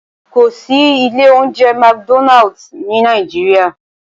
Kò sí ilé oúnjẹ McDonald ní Nàìjíríà